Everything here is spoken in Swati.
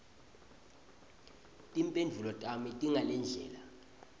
timphendvulo tami tingalendlela